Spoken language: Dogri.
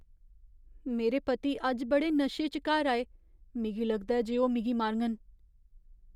मेरे पति अज्ज बड़े नशे च घर आए। मिगी लगदा ऐ जे ओह् मिगी मारङन।